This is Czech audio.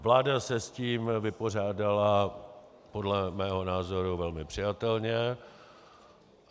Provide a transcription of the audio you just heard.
Vláda se s tím vypořádala podle mého názoru velmi přijatelně.